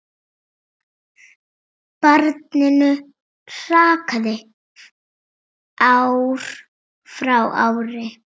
Barninu hrakaði ár frá ári.